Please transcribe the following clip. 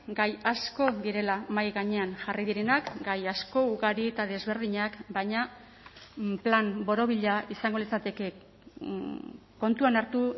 gai asko direla mahai gainean jarri direnak gai asko ugari eta desberdinak baina plan borobila izango litzateke kontuan hartu